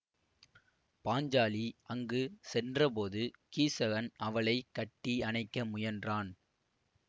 பாஞ்சாலி அங்கு சென்றபோது கீசகன் அவளை கட்டி அணைக்க முயன்றான்